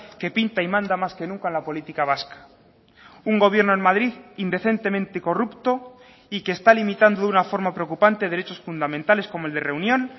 que pinta y manda más que nunca en la política vasca un gobierno en madrid indecentemente corrupto y que está limitando de una forma preocupante derechos fundamentales como el de reunión